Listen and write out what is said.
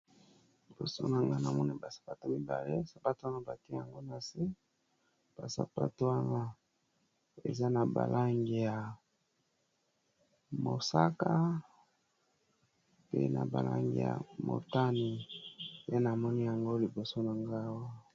Liboso na nga namone basapato mibale. Sapato wana bake yango na se basapato wana eza na balangi ya mosaka pe na balangi ya motani pe àna moni yango liboso na ngawa.